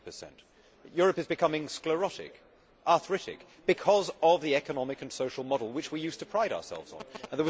15. Europe is becoming sclerotic, arthritic, because of the economic and social model which we used to pride ourselves on.